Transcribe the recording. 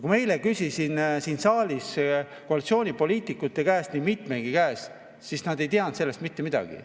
Kui ma eile küsisin koalitsioonipoliitikute käest, nii mitmegi käest, siis nad ei teadnud sellest mitte midagi.